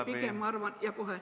Aeg on läbi!